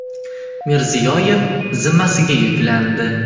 Mirziyoyev zimmasiga yuklandi.